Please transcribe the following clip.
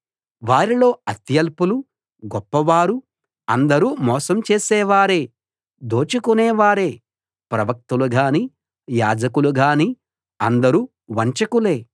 వారిలో అత్యల్పులు గొప్పవారు అందరూ మోసం చేసేవారే దోచుకొనేవారే ప్రవక్తలు గాని యాజకులు గాని అందరూ వంచకులే